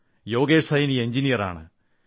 യോഗേഷ് സൈനി എഞ്ചിനീയറാണ്